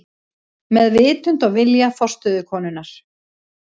Með vitund og vilja forstöðukonunnar.